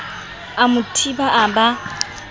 a mo thiba a ba